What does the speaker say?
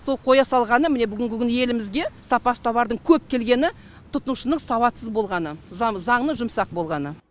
сол қоя салғаны міне бүгінгі күні елімізге сапасыз товардың көп келгені тұтынушының сауатсыз болғаны заңның жұмсақ болғаны